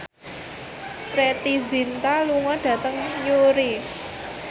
Preity Zinta lunga dhateng Newry